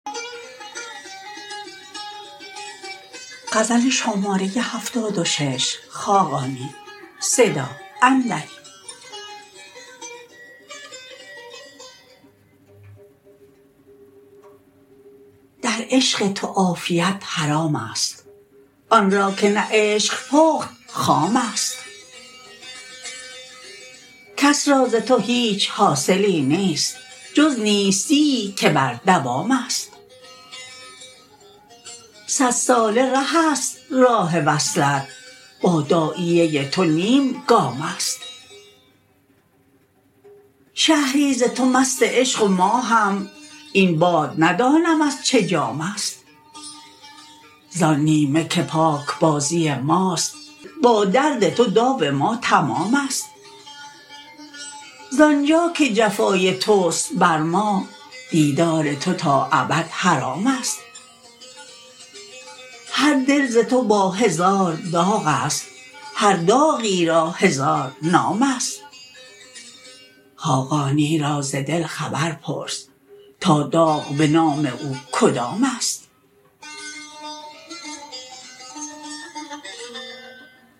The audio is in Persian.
در عشق تو عافیت حرام است آن را که نه عشق پخت خام است کس را ز تو هیچ حاصلی نیست جز نیستیی که بر دوام است صدساله ره است راه وصلت با داعیه تو نیم گام است شهری ز تو مست عشق و ما هم این باد ندانم از چه جام است ز آن نیمه که پاکبازی ماست با درد تو داو ما تمام است ز آنجا که جفای توست بر ما دیدار تو تا ابد حرام است هر دل ز تو با هزار داغ است هر داغی را هزار نام است خاقانی را ز دل خبر پرس تا داغ به نام او کدام است